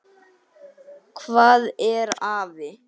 Hvað er afi?